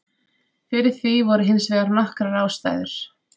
Fyrir því voru hins vegar nokkrar ástæður.